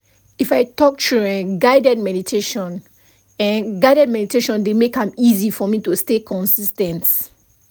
if i talk true eh guided meditation eh guided meditation dey make am easy for me to stay consis ten t